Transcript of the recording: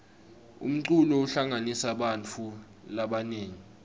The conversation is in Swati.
umculo uhlanganisa bantfu labanengi